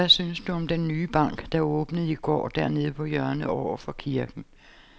Hvad synes du om den nye bank, der åbnede i går dernede på hjørnet over for kirken?